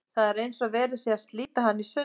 Það er eins og verið sé að slíta hana í sundur.